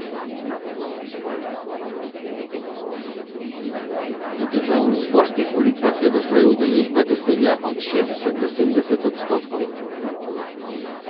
Na državnozborskih volitvah je doslej udeležba dosegala od šestdeset do sedemdeset odstotkov.